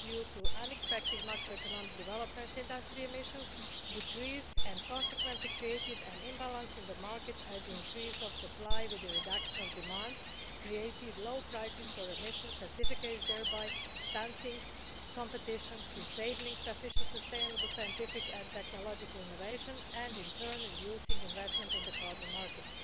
However, due to unexpected macro economic developments, industrial emissions decreased and consequently created an imbalance in the market as the increase in supply plus the reduction in demand created low prices for emission certificates, thereby stunting competition, disabling sufficiently sustainable scientific and technological innovation and, in turn, reducing investment in the carbon market.